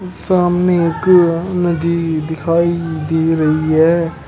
सामने एक नदी दिखाई दे रही है।